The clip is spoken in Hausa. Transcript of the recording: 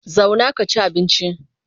Zauna ka ci abinci!